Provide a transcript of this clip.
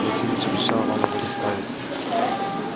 максимыч обещал вам его доставить